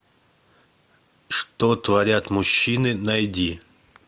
что творят мужчины найди